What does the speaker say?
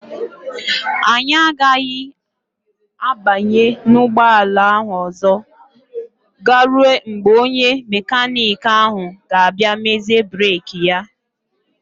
Anyị agaghị abanye n'ụgbọala ahụ ọzọ garuo mgbe onye mekaniki ahụ ga-abịa mezie breeki ya.